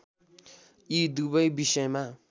यी दुवै विषयमा